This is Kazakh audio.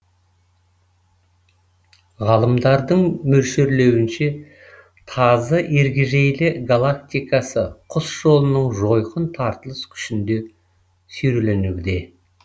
ғалымдардың мөлшерлеуінше тазы ергежейлі галактикасы құс жолының жойқын тартылыс күшінде сүйреленуде